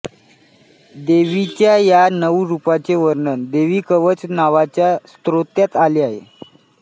देवीच्या या नऊ रूपांचे वर्णन देवीकवच नावाच्या स्तोत्रात आले आहे